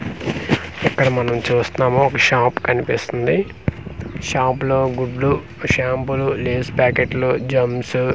ఇక్కడ మనం చూస్తున్నాము ఇక్కడ ఒక షాప్ కనిపిస్తుంది షాప్ లో గుడ్లు షంపూలు లేస్ పాకెట్స్ జెమ్స్ .